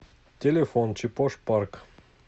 телефон чепош парк